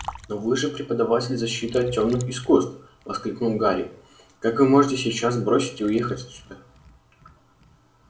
но вы же преподаватель защиты от тёмных искусств воскликнул гарри как вы можете сейчас бросить и уехать отсюда